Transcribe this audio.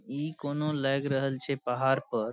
इ कोनो लग रहल छे पहाड़ पर --